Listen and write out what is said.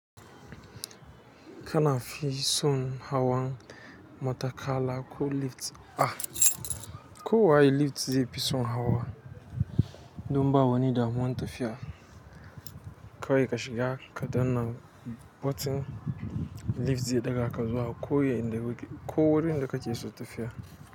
Ka fi son hawa matakala ko lift? Ah, kowa lift zaifi son hawa, don bawani damuwan tafiya. Ko waye kashi ga kadanna button lift ze daga kasuwa ko waye inde wige, ko wuri inde kaciye so tafiya.